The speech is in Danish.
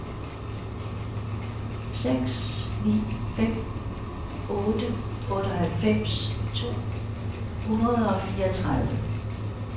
seks ni fem otte otteoghalvfems to hundrede og fireogtredive